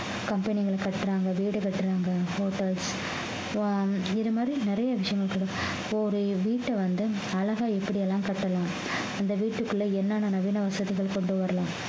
company ங்களுக்கு கட்டுறாங்க வீடு கட்டுறாங்க hotels ஆஹ் இது மாதிரி நிறைய விஷயங்கள் கொடுப்போம் இப்போ ஒரு வீட்டை வந்து அழகா எப்படி எல்லாம் கட்டலாம் அந்த வீட்டுக்குள்ள என்னென்ன நவீன வசதிகள் கொண்டு வரலாம்